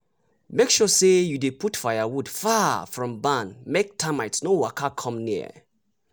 make sure say you dey put firewood far from barn make termite no waka come near.